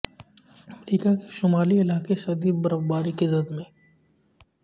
امریکہ کے شمالی علاقے شدید برفباری کی زد میں